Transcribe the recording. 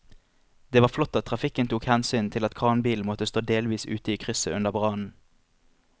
Det var flott at trafikken tok hensyn til at kranbilen måtte stå delvis ute i krysset under brannen.